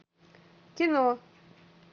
кино